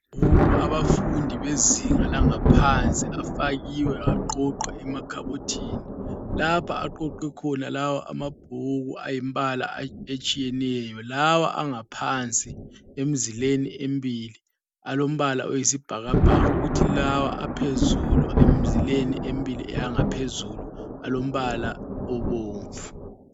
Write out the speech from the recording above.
Abafundi bezinga langaphansi afakiwe baqoqa emakhabothini, lapho aqoqwe khona lawa amabhuku ayimbala etshiyeneyo lawa angaphansi emzileni embili alombala oyisibhakabhaka kuthi lawa aphezulu emzileni embili engaphezulu alombala obomvu.